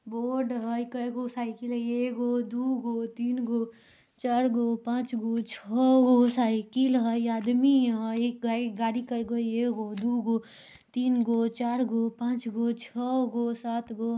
रोड हई कई गो साइकिल हई एगो दुगो तीन गो चार गो पांच गो छो गो साइकिल हई आदमी हई गाइ गाड़ी करगो हई एगो दू गो तीन गो चार गो पांच गो छाे गो सात गो--।